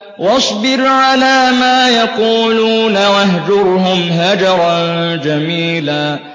وَاصْبِرْ عَلَىٰ مَا يَقُولُونَ وَاهْجُرْهُمْ هَجْرًا جَمِيلًا